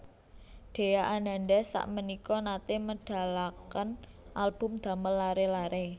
Dhea Ananda sakmenika nate medalaken album damel lare lare